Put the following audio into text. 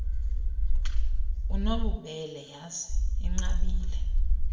unobubele yhazi inqabile